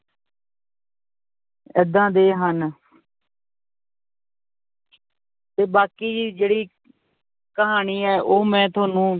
ਏਦਾਂ ਦੇ ਹਨ ਤੇ ਬਾਕੀ ਜੀ ਜਿਹੜੀ ਕਹਾਣੀ ਹੈ ਉਹ ਮੈਂ ਤੁਹਾਨੂੰ